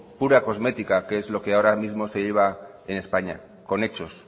pura cosmética que es lo que ahora mismo se lleva en españa con hechos